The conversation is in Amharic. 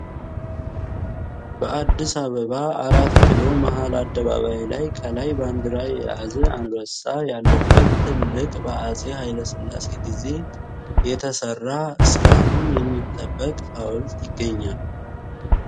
በአዲስ አበባ 4 ኪሎ መሃል አደባባይ ላይ ከላይ ባንዲራ የያዘ አንበሳ ያለበት ትልቅ በአጼ ሃይሌ ስላሴ ጊዜ የተሰራ እስካሁን የሚጠበቅ ሃውልት ይገኛል።